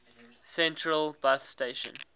central bus station